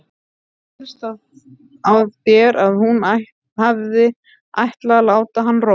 Mér skildist á þér að hún hefði ætlað að láta hann róa.